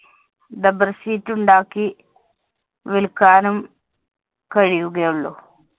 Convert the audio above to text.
dubber sheet ഉണ്ടാക്കി വിൽക്കാനും കഴിയുകയുള്ളൂ.